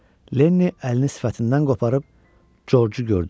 Lenni əlini sifətindən qoparıb Corcu gördü.